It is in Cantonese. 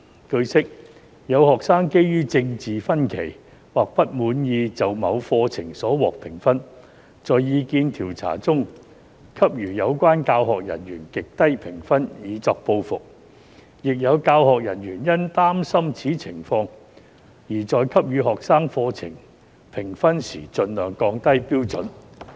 據悉，有學生基於政見分歧或不滿意就某課程所獲評分，在意見調查中給予有關教學人員極低評分以作報復，亦有教學人員因擔心此情況而在給予學生課程評分時盡量降低標準。